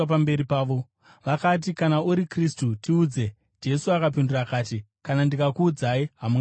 Vakati, “Kana uri Kristu, tiudze.” Jesu akapindura akati, “Kana ndikakuudzai, hamunganditendi,